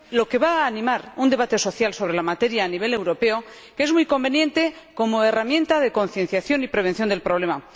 ello animará un debate social sobre la materia a nivel europeo, que es muy conveniente como herramienta de concienciación y prevención del problema.